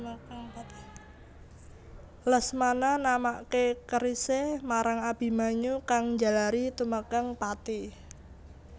Lesmana namaké kerisé marang Abimanyu kang njalari tumekèng pati